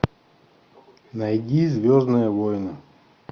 найди звездные воины